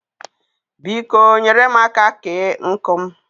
Biko, nyere mụ aka kee nkụ m